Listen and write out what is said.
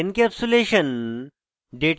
encapsulation data abstraction